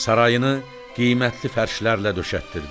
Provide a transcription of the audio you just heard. Sarayını qiymətli fərşlərlə döşətdirdi.